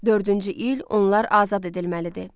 Dördüncü il onlar azad edilməlidir.